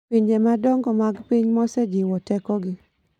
Pinje madongo mag piny mosejiwo tekogi .